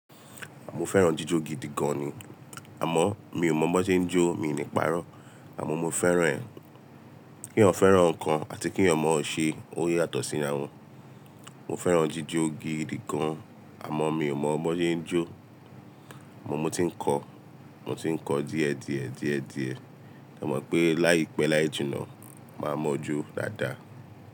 Àmò fẹ́ràn jíjò gidi gan ni, àmó mi ò mọ bi won ṣe ń jó mi ní páró àmó mo fẹ́ràn ẹ. Kí ènìyàn fẹ́ràn nkàn àti kí ènìyàn mọ ṣe ó yàtò sí ìráwọ̀. Mo fẹ́ràn jíjò gidi gan àmó mi ò mọ bó ṣe ń jó, àmó mo ti n kọ́, mo ti n kọ́ díẹ̀ díẹ̀ díẹ̀ díẹ̀, mo mọ̀ pé láìpẹ́ láì jìnnà, màá mọ̀ jó dáadáa.